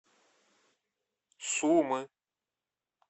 сумы